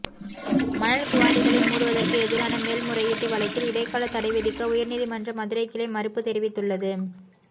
மணல் குவாரிகளை மூடுவதற்கு எதிரான மேல்முறையீட்டு வழக்கில் இடைக்கால தடைவிதிக்க உயர்நீதிமன்ற மதுரைக்கிளை மறுப்பு தெரிவித்துள்ளது